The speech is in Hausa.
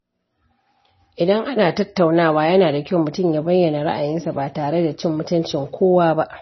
Idan ana tattaunawa, yana da kyau mutum ya bayyana ra’ayinsa ba tare da cin mutuncin kowa ba.